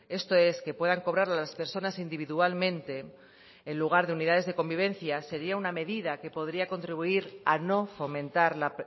esto es que puedan cobrar las personas individualmente en lugar de unidades de convivencia sería una medida que podría contribuir a no fomentar la